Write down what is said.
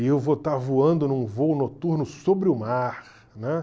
E eu vou estar voando num voo noturno sobre o mar, né?